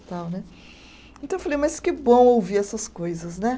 Então né, então eu falei, mas que bom ouvir essas coisas né.